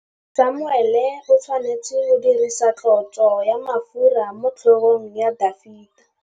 Samuele o tshwanetse go dirisa tlotsô ya mafura motlhôgong ya Dafita.